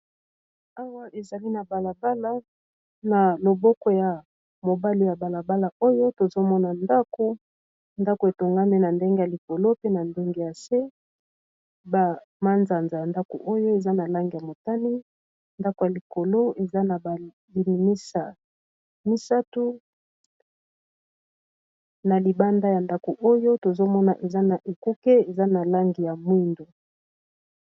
Awa ezali na balabala. Na loboko ya mobali ya balabala oyo tozomona ndako, ndako etongami na ndenge ya likolo pe na ndenge ya se, ba manzanza ya ndako oyo eza na langi ya motani, ndako ya likolo eza na balimisa misato, na libanda ya ndako oyo tozomona eza na ekuke eza na lange ya mwindo.